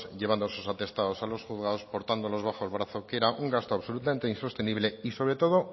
llevando esos atestados a los juzgados portándolos bajo el brazo que era un gasto absolutamente insostenible y sobre todo